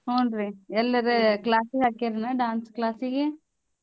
ಹೂನ್ ರೀ ಎಲ್ಲೇರ class ಹಾಕೀರೆನ್ dance class ಗೆ?